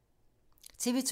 TV 2